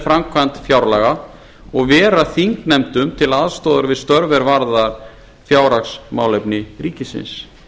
framkvæmd fjárlaga og vera þingnefndum til aðstoðar við störf er varða fjárhagsmálefni ríkisins